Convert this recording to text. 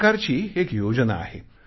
भारत सरकारची एक योजना आहे